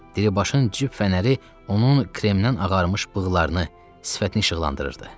Diribaşın cib fənəri onun kremindən ağarmış bığlarını, sifətini işıqlandırırdı.